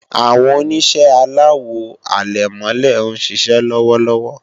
Àwọn Oníṣẹ́ aláwo àlẹ̀mọ́lẹ̀ ń ṣiṣẹ́ lọ́wọ́lọ́wọ́